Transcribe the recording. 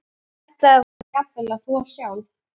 Ætlaði hún jafnvel að þvo sjálf?